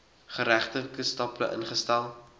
geregtelike stappe ingestel